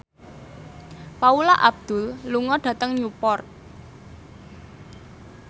Paula Abdul lunga dhateng Newport